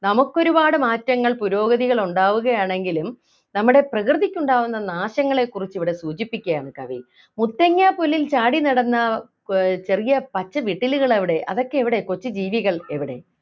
നമുക്കൊരുപാട് മാറ്റങ്ങൾ പുരോഗതികൾ ഉണ്ടാവുകയാണെങ്കിലും നമ്മുടെ പ്രകൃതിക്കുണ്ടാകുന്ന നാശങ്ങളെ കുറിച്ച് ഇവിടെ സൂചിപ്പിക്കുകയാണ് കവി മുത്തങ്ങ പുല്ലിൽ ചാടി നടന്ന ഏർ ചെറിയ പച്ച വിട്ടലുകൾ എവിടെ അതൊക്കെ എവിടെ കൊച്ചു ജീവികൾ എവിടെ